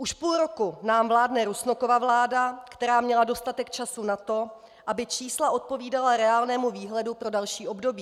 Už půl roku nám vládne Rusnokova vláda, která měla dostatek času na to, aby čísla odpovídala reálnému výhledu pro další období.